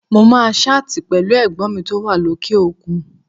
Mo máa ṣáàtì pẹ̀lú Ẹ̀gbọ́n mi tó wà lókè òkun